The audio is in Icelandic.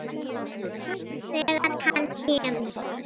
Þegar hann kemur.